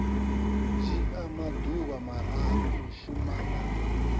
dzhia maḓuvha mararu u shumana